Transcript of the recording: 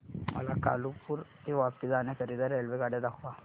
मला कालुपुर ते वापी जाण्या करीता रेल्वेगाड्या दाखवा